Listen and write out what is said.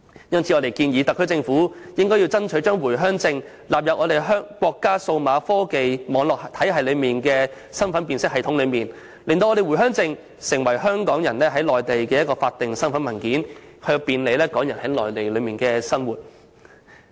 因此，我們建議特區政府爭取把回鄉證納入內地數碼科技網絡體系的身份辨別系統，令回鄉證成為港人在內地的法定身份文件，以便利港人在內地的生活。